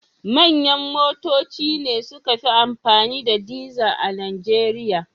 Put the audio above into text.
Manyan motoci ne suka fi amfani da dizar a Nijeriya.